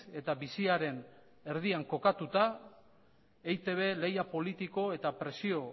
eta biziaren erdian kokatuta eitb lehia politiko eta presio